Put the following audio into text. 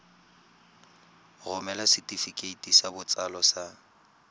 romela setefikeiti sa botsalo sa